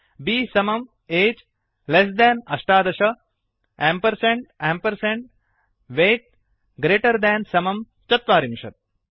B समं ageएज् less than अष्टादश एम्पर्सेण्ड् एम्पर्सेण्ड् weightवैट् ग्रेटर् देन् समं चत्वारिंशत्